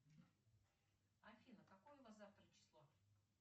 афина какое у нас завтра число